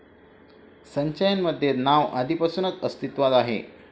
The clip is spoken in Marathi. संचयन मध्ये नाव आधिपासूनच अस्तीत्वात आहे